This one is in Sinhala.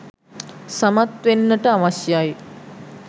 සමත් වෙන්නට අවශ්‍යයි.